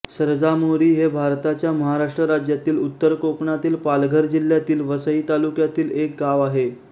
सरजामोरी हे भारताच्या महाराष्ट्र राज्यातील उत्तर कोकणातील पालघर जिल्ह्यातील वसई तालुक्यातील एक गाव आहे